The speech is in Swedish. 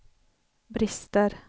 brister